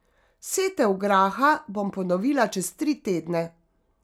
Setev graha bom ponovila čez tri tedne.